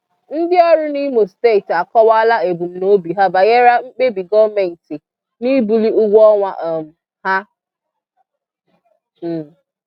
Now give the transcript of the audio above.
Ndị orụ n'ìmò Steeti akọwaala ebumnobi ha banyere mkpebi Goomenti n'ibuli ụgwọọnwa um ha.\n